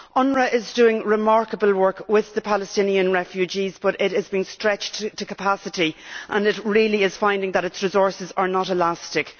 UNRWA is doing remarkable work with the Palestinian refugees, but it has been stretched to capacity and is finding that its resources are not elastic.